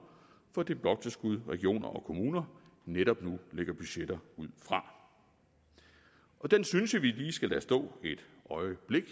fra det bloktilskud regioner og kommuner netop nu lægger budgetter ud fra den synes jeg vi lige skal lade stå et øjeblik